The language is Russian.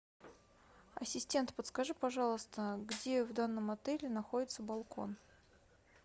ассистент подскажи пожалуйста где в данном отеле находится балкон